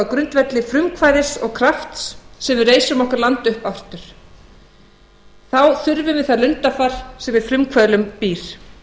grundvelli frumkvæðis og krafts sem við reisum okkar land upp aftur þá þurfum við það lundarfar sem í frumkvöðlum býr